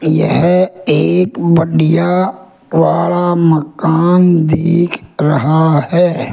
यह एक बढ़िया वाला मकान दिख रहा है।